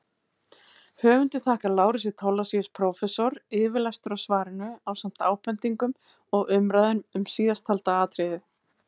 Höfundur þakkar Lárusi Thorlacius prófessor yfirlestur á svarinu ásamt ábendingum og umræðum um síðasttalda atriðið.